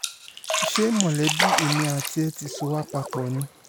ṣé mọ̀lẹ́bí èmi àti ẹ̀ ti sọ wá papọ̀ ni